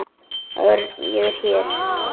Örn, ég er hér